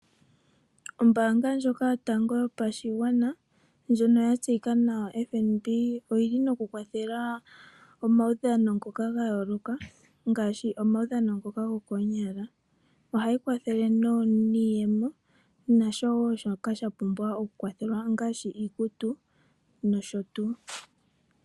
Ombanga ndjoka yotango yopashigwana ndjono ya tseyika nawa Fnb oyili no kukwathela omaudhano ngoka gayoloka ngaashi omaudhano ngoka gokonyala , Ohayi kwathele niiyemo , nashowo shoka shapumbwa okukwathelwa ngaashi iikutu noshotuu.